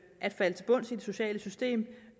at falde til bunds i det sociale system